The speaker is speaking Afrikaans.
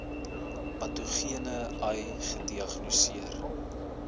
patogene ai gediagnoseer